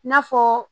N'a fɔ